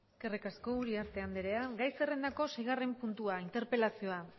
eskerrik asko uriarte andrea gai zerrendako seigarren puntua interpelazioa